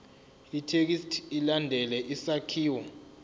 ithekisthi ilandele isakhiwo